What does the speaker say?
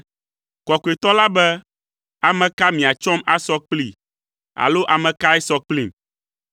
Kɔkɔetɔ la be, “Ame ka miatsɔm asɔ kplii alo ame kae sɔ kplim?”